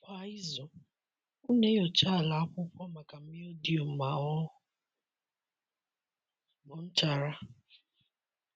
Kwa izu, m na-enyocha ala akwụkwọ maka mildew ma ọ bụ nchara.